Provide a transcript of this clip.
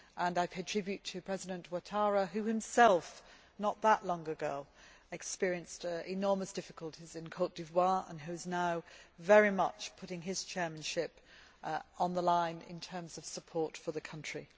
I pay tribute to President Ouattara who himself, not that long ago, experienced enormous difficulties in Côte d'Ivoire and who is now very much putting his chairmanship on the line in terms of support for the country.